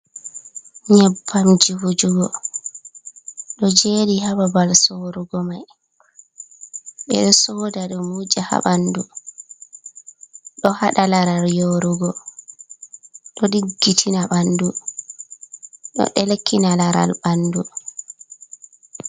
"Nyebbamji" vujugo ɗo jodi ha babal sorugo mai ɓe ɗo soda ɗum wuja ha ɓandu ɗo hada laral yorugo ɗo diggitina ɓandu ɗo delkina laral ɓandu.